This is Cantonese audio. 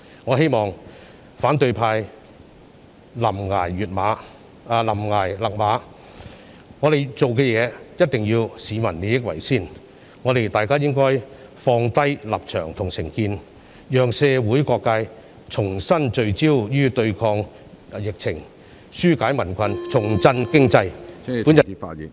我希望反對派臨崖勒馬，我們做事必須以市民的利益為先，大家應該放下立場和成見，讓社會各界重新聚焦對抗疫情，紓解民困，重振經濟。